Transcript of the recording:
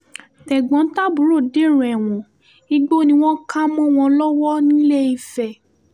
tẹ̀gbọ́n-tàbúrò dèrò ẹ̀wọ̀n igbó ni wọ́n kà mọ́ wọn lọ́wọ́ nìléèfẹ̀